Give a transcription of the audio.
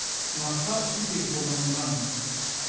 сынаққа сутегі қолданылған